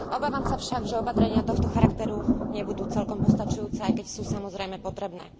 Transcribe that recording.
Obávam sa však, že opatrenia tohto charakteru nebudú celkom postačujúce, aj keď sú samozrejme potrebné.